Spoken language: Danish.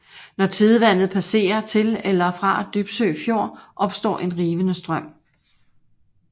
Når tidevandet passerer til eller fra Dybsø Fjord opstår en rivende strøm